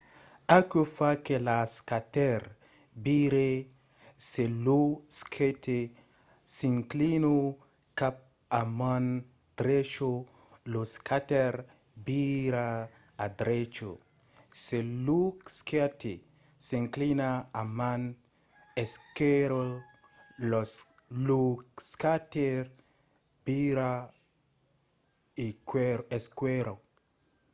aquò fa que lo skater vire. se lo skate s'inclina cap a man drecha lo skater vira a drecha se lo skate s'inclina a man esquèrra lo skater vira a esquèrra